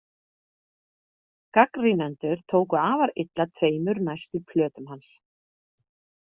Gagnrýnendur tóku afar illa tveimur næstu plötum hans.